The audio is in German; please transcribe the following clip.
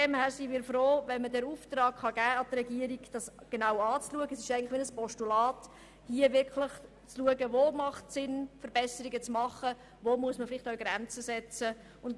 Deshalb sind wir dafür, der Regierung den Auftrag zu geben, dies genau anzuschauen und zu prüfen, was sinnvoll ist, und wo man vielleicht auch Grenzen setzen muss.